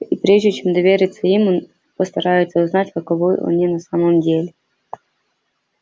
и прежде чем довериться им он постарается узнать каковы они на самом деле